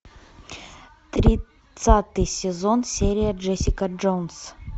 тридцатый сезон серия джессика джонс